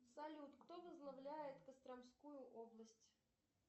салют кто возглавляет костромскую область